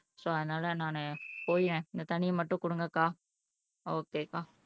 so அதனால நான் போயி இந்த தண்ணிய மட்டும் கொடுங்க அக்கா ஓகே அக்கா